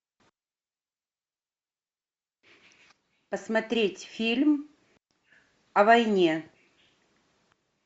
посмотреть фильм о войне